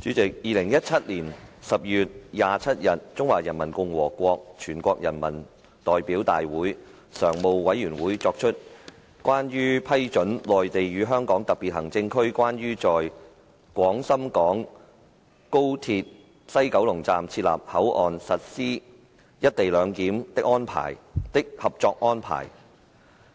主席 ，2017 年12月27日，中華人民共和國全國人民代表大會常務委員會作出關於批准《內地與香港特別行政區關於在廣深港高鐵西九龍站設立口岸實施"一地兩檢"的合作安排》